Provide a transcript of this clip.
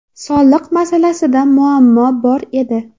Soliq masalasida muammo bor edi.